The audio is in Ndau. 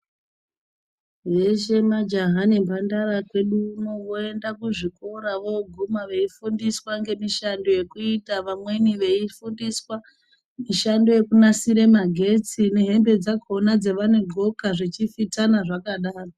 Veshe majaha nembandara kweduuno voende kuzvikora voguma veifundiswa ngemishando yekuita vamweni veifundiswa mishando yekunasira magetsi nehembe dzakona dzavadxoka zvechifitana zvakadaro.